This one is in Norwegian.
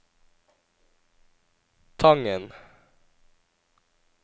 Tangen